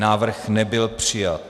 Návrh nebyl přijat.